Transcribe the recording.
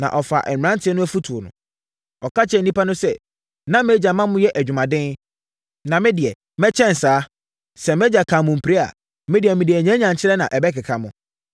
na ɔfaa mmeranteɛ no afotuo. Ɔka kyerɛɛ nnipa no sɛ, “Na mʼagya ma moyɛ adwumaden, na me deɛ, mɛkyɛn saa! Sɛ mʼagya kaa mo mpire a, me deɛ, mede anyanyankyerɛ na ɛbɛkeka mo!”